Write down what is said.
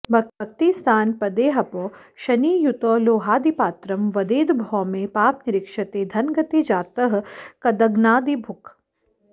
भुक्तिस्थानपदेहपौ शनियुतौ लोहादिपात्रं वदेद् भौमे पापनिरीक्षिते धनगते जातः कदग्नादिभुक्